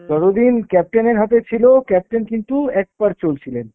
যতদিন captain এর হাতে ছিল captain কিন্তু একপাড়ে চলছিলেন।